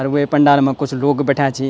और वे पंडाल मा कुछ लोग बैठ्याँ छीं।